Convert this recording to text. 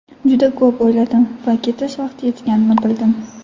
Juda ko‘p o‘yladim va ketish vaqti yetganini bildim.